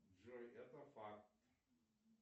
джой это факт